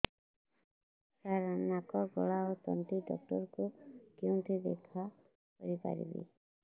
ସାର ନାକ ଗଳା ଓ ତଣ୍ଟି ଡକ୍ଟର ଙ୍କୁ କେଉଁଠି ଦେଖା କରିପାରିବା